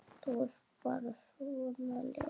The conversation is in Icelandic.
Þú ert bara svona linur!